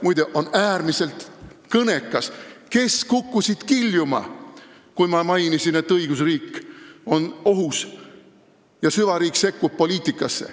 Muide, äärmiselt kõnekas on see, kes kukkusid kiljuma, kui ma mainisin, et õigusriik on ohus ja süvariik sekkub poliitikasse.